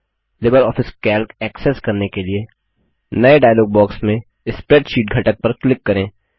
Libre office Calc access करने के लिए नये डायलॉग बॉक्स में स्प्रेडशीट घटक पर क्लिक करें